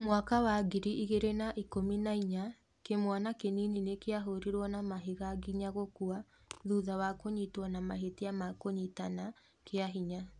Mwaka wa ngiri igĩrĩ na ikũmi na inya, kĩmwana kĩnini nĩ kĩahũrirwo na mahiga nginya gũkua thutha wa kũnyitwo na mahĩtia ma kũnyitana kĩa hinya.